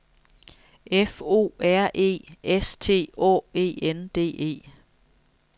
F O R E S T Å E N D E